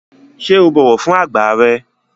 Ṣé o bọ̀wọ̀ fún àgbà rẹ?